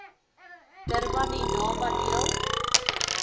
durban indaba deel